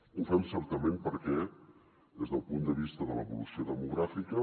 ho fem certament perquè des del punt de vista de l’evolució demogràfica